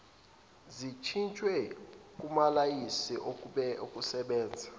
zishintshelwe kumalayisense okusebenza